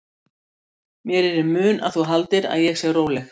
Mér er í mun að þú haldir að ég sé róleg.